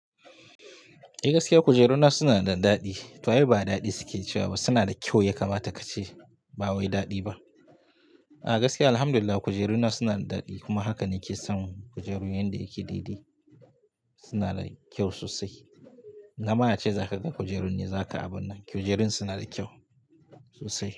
Eh gaskiya kujeruna suna da daɗi. To ai ba daɗi suke cewa ba, suna da kyau ya kamata ka ce ba wai daɗi ba. A gaskiya alhamdulillah kujeruna suna da daɗi kuma haka nake son kujeru inda yake didi. Suna da kyau sosai. Na ma na ce za ka ga kujerun ne za ka abun nan. Kujerun suna da kyau sosai.